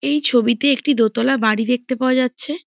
এই ছবিতে একটি দোতালা বাড়ি দেখতে পাওয়া যাচ্ছে ।